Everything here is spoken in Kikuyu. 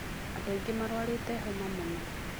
Andũ aingĩ marwarĩte homa mũno.